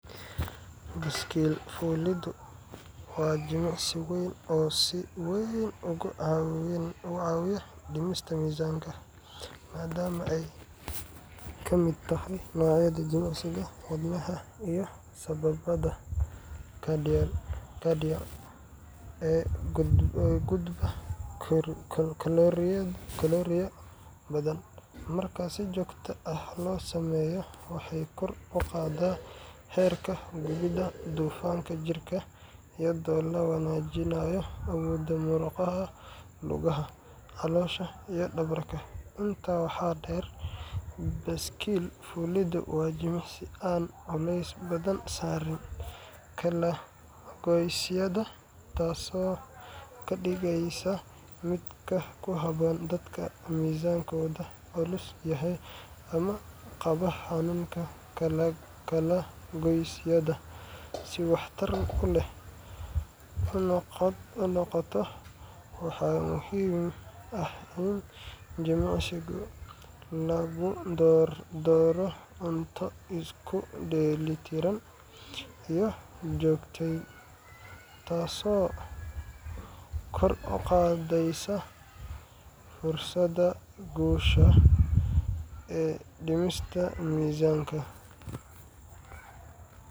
Baaskiil fuuliddu waa jimicsi weyn oo si weyn uga caawiya dhimista miisanka, maadaama ay ka mid tahay noocyada jimicsiga wadnaha iyo sambabada cardio ee guba kalooriyo badan. Marka si joogto ah loo sameeyo, waxay kor u qaadaa heerka gubidda dufanka jirka, iyadoo la wanaajinayo awoodda murqaha lugaha, caloosha, iyo dhabarka. Intaa waxaa dheer, baaskiil fuuliddu waa jimicsi aan culays badan saarin kala-goysyada, taasoo ka dhigaysa mid ku habboon dadka miisaankoodu culus yahay ama qaba xanuunka kala-goysyada. Si waxtar u leh u noqoto, waxaa muhiim ah in jimicsiga lagu daro cunto isku dheelli tiran iyo joogteyn, taasoo kor u qaadaysa fursadda guusha ee dhimista miisaanka.